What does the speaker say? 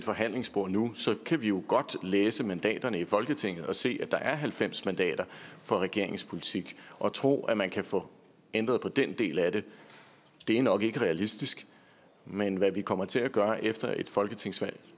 forhandlingsbord nu kan vi jo godt læse mandaterne i folketinget og se at der er halvfems mandater for regeringens politik og at tro at man kan få ændret på den del af det er nok ikke realistisk men hvad vi kommer til at gøre efter et folketingsvalg